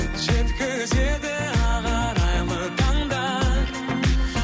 жеткізеді ақ арайлы таңдар